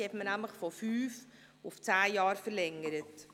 Diese hat man von fünf auf zehn Jahre verlängert.